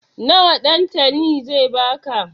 Nawa Ɗantani zai ba ka?